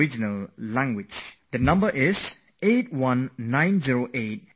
The number to give a missed call on is 8190881908